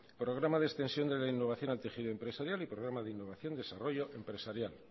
programa de extensión de la innovación al tejido empresarial y programa de innovación y desarrollo empresarial